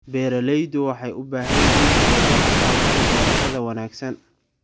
Beeraleydu waxay u baahan yihiin tababar ku saabsan beerashada wanaagsan.